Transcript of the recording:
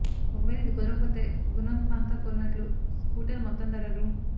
ఒక వేళ ఇది కుదరకపోతే గున్వంత్ మహ్తా కోరినట్లు స్కూటర్ మొత్తం ధర రూ